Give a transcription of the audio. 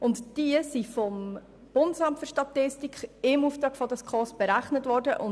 Diese Beiträge sind vom BFS im Auftrag der SKOS berechnet worden.